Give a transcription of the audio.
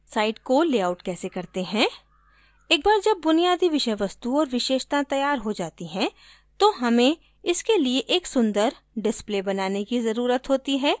site को layout कैसे करते हैं एक बार जब बुनियादी विषय वस्तु और विशेषताएँ तैयार हो जाती हैं तो हमें इसके लिए एक सुन्दर डिस्प्ले बनाने की ज़रूरत होती है